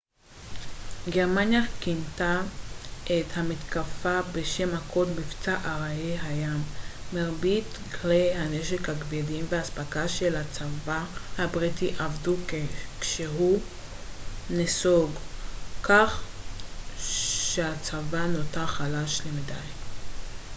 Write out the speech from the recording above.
גרמניה כינתה את המתקפה בשם הקוד מבצע ארי הים מרבית כלי הנשק הכבדים והאספקה של הצבא הבריטי אבדו כשהוא נסוג מדנקירק כך שהצבא נותר חלש למדי